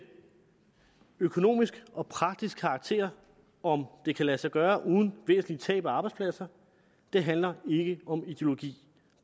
økonomisk og praktisk karakter om det kan lade sig gøre uden væsentlige tab af arbejdspladser det handler ikke om ideologi